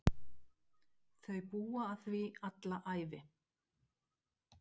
Þau búa að því alla ævi.